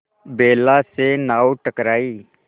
बेला से नाव टकराई